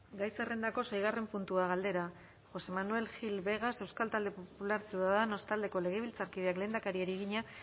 gai zerrendako seigarren puntua galdera josé manuel gil vegas euskal talde popularra ciudadanos taldeko legebiltzarkideak lehendakariari egina